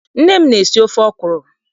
Nne m na- esi ofe ọkwụrụ.